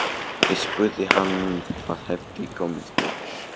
Ég spurði hann hvað hefði komið fyrir.